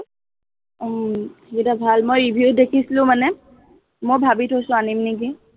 উম সেইকেইটা ভাল, মই review দেখিছিলো মানে, মই ভাবি থৈছো, আনিম নেকি